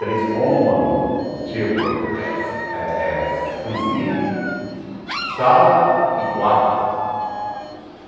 Três cômodos, tipo, eh eh eh cozinha, sala e quarto.